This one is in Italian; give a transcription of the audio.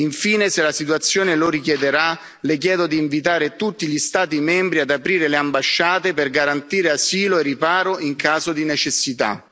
Infine, se la situazione lo richiederà, Le chiedo di invitare tutti gli Stati membri ad aprire le ambasciate per garantire asilo e riparo in caso di necessità.